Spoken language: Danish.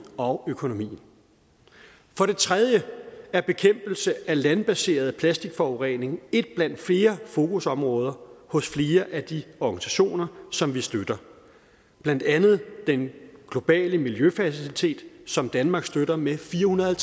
og økonomien for det tredje er bekæmpelse af landbaseret plastikforurening et blandt flere fokusområder hos flere af de organisationer som vi støtter blandt andet den globale miljøfacilitet som danmark støtter med fire hundrede og